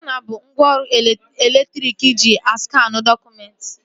Skana bụ ngwaọrụ elektriki eji askanụ dọkụmentị